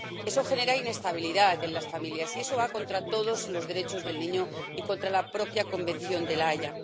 Eso genera inestabilidad en las familias y eso va contra todos los derechos del niño y contra la propia Convención de La Haya.